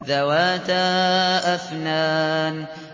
ذَوَاتَا أَفْنَانٍ